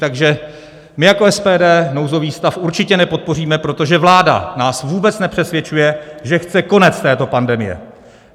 Takže my jako SPD nouzový stav určitě nepodpoříme, protože vláda nás vůbec nepřesvědčuje, že chce konec této pandemie.